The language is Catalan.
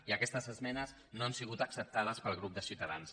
i aquestes esmenes no han sigut acceptades pel grup de ciutadans